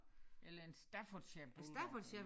Eller en Staffordshire bulldog eller